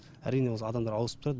әрине осы адамдар ауысып тұрады